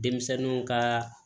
Denmisɛnninw kaa